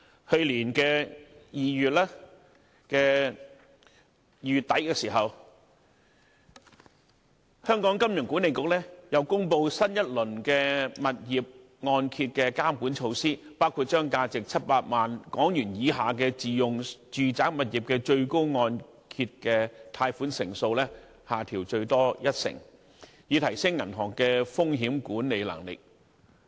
去年2月底，香港金融管理局又公布新一輪物業按揭監管措施，包括把價值700萬港元以下的自用住宅物業的最高按揭貸款成數，下調最多一成，以提升銀行的風險管理能力。